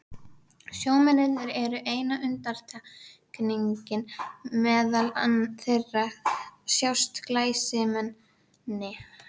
Sjómennirnir eru eina undantekningin, meðal þeirra sjást glæsimenni.